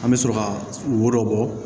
An bɛ sɔrɔ ka wo dɔ bɔ